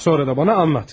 Sonra da mənə danış.